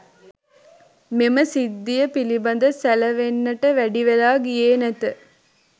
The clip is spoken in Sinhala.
මෙම සිද්ධිය පිළිබඳ සැලවෙන්නට වැඩිවෙලා ගියේ නැත.